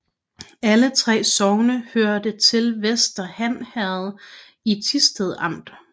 Alle 3 sogne hørte til Vester Han Herred i Thisted Amt